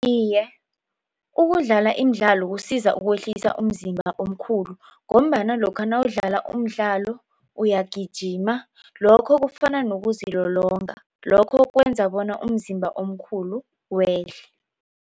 Iye, ukudlala imidlalo kusiza ukwehlisa umzimba omkhulu ngombana lokha nawudlala umdlalo uyagijima lokho kufana nokuzilolonga lokho kwenza bona umzimba omkhulu wehle.